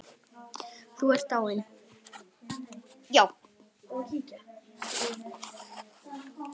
Þú ert dáinn.